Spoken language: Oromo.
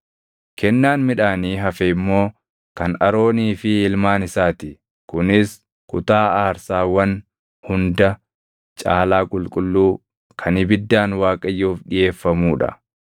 Kennaan midhaanii hafe immoo kan Aroonii fi ilmaan isaa ti; kunis kutaa aarsaawwan hunda caalaa qulqulluu kan ibiddaan Waaqayyoof dhiʼeeffamuu dha.